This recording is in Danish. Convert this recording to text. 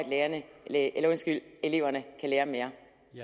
at eleverne kan lære mere